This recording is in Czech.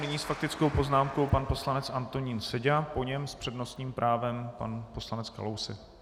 Nyní s faktickou poznámkou pan poslanec Antonín Seďa, po něm s přednostním právem pan poslanec Kalousek.